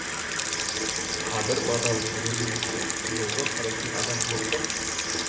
қадыр бадалов жүргізуші жолға қарайтын адам жоқ па